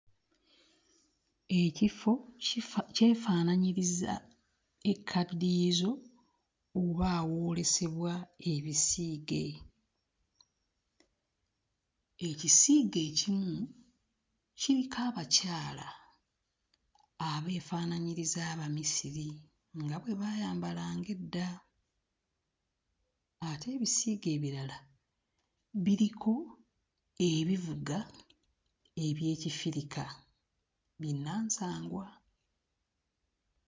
Ekifo kifa... kyefaananyiriza ekkadiyizo oba awoolesebwa ebisiige. Ekisiige ekimu kiriko abakyala abeefaananyiriza Abamisiri nga bwe baayambalanga edda ate ebisiige ebirala biriko ebivuga eby'Ekifirika binnansangwa.